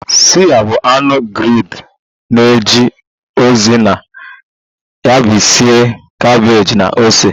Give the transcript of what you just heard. Suya bụ anụ grilled na-eje ozi na yabasị, kabeeji na ose